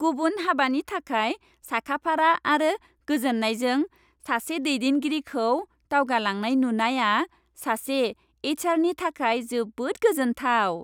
गुबुन हाबानि थाखाय साखाफारा आरो गोजोन्नायजों सासे दैदेनगिरिखौ दावगालांनाय नुनाया सासे एइच आरनि थाखाय जोबोद गोजोन्थाव ।